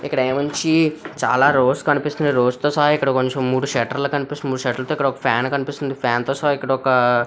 ఇక్కడ నుంచి చాలా రోడ్స్ కనిపిస్తున్నాయి.రోడ్స్ సహా కొంచెం మూడు షేటర్లు కనిపిస్తున్నాయి మూడు షేటర్లు దగ్గర ఒక ఫ్యాన్ కనిపిస్తుంది. ఫ్యాన్ తో సహా ఇక్కడొక --